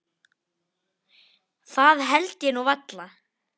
Það held ég nú varla.